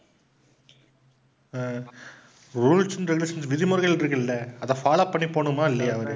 rules and regulations விதிமுறைகள் இருக்குல்ல அதை follow பண்ணி போகணுமா இல்லயா?